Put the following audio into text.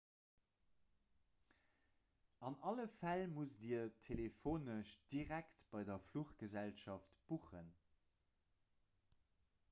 an alle fäll musst dir telefonesch direkt bei der fluchgesellschaft buchen